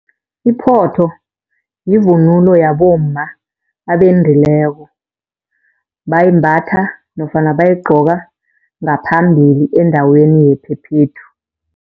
Iphotho yivunulo yabomma abendileko, bayimbatha nofana bayigqoka ngaphambili endaweni yephephethu.